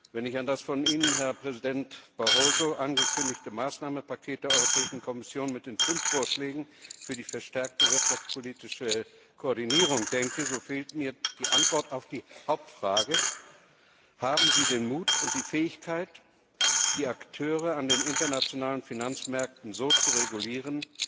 Wenn ich an das von Ihnen, Herr Präsident Barroso, angekündigte Maßnahmenpaket der Europäischen Kommission mit den fünf Vorschlägen für die verstärkte wirtschaftspolitische Koordinierung denke, so fehlt mir die Antwort auf die Hauptfrage Haben Sie den Mut und die Fähigkeit, die Akteure an den internationalen Finanzmärkten so zu regulieren,